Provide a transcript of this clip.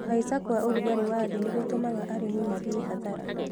Kũhaisha kwa ũrugarĩ wa thĩ nĩgũtũmaga aĩmi mathie hathara.